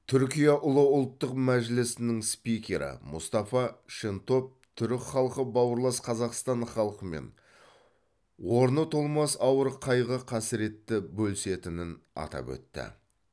түркия ұлы ұлттық мәжілісінің спикері мустафа шентоп түрік халқы бауырлас қазақстан халқымен орны толмас ауыр қайғы қасіретті бөлісетінін атап өтті